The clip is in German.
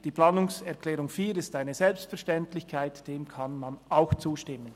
Die Planungserklärung 4 ist eine Selbstverständlichkeit, dieser kann man auch zustimmen.